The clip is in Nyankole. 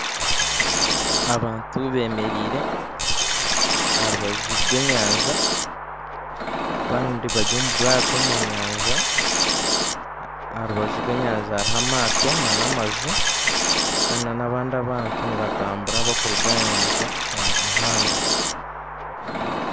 Abantu bemereire aha rubaju rw'enyanja abandi bari omu bwato omu nyanja aha rubaju rw'enyanja hariho amaato nana amaju Kandi nabandi abantu nibatambura barikuruga aha nyanja omu muhanda